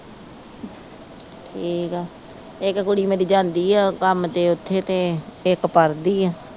ਠੀਕ ਆ ਇਕ ਕੁੜੀ ਮੇਰੀ ਜਾਂਦੀ ਆ ਕੰਮ ਤੇ ਉੱਥੇ ਤੇ ਇਕ ਪੜ੍ਹਦੀ ਆ।